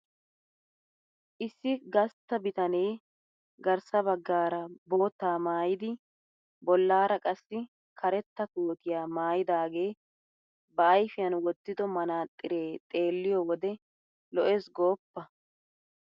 Issi gastta bitanee garssa baggaara boottaa maayidi bollaara qassi karetta kootiya maayidaagee ba ayfiyan wottido manaaxxiree xeelliyo wode lo'ees gooppa!